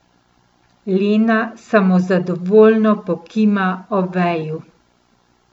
Lena samozadovoljno pokima Oveju.